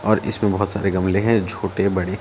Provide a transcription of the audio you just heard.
और इसमें बहोत सारे गमले हैं छोटे बड़े--